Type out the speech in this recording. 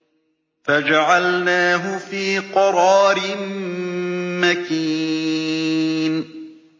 فَجَعَلْنَاهُ فِي قَرَارٍ مَّكِينٍ